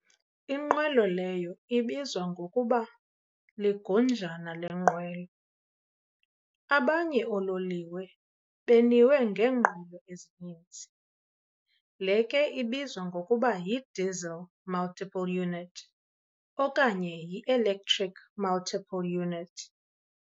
Inqwelo leyo ibizwa ngokuba yi-"ligunjana lenqwelo". abanye oololiwe beniwe ngeenqwelo ezinini. Le ke ibizwa ngokuba yi-diesel multiple unit okanye yi-lectric multiple unit.